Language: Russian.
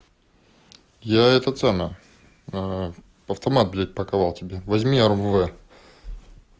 показал тебе возьми армавир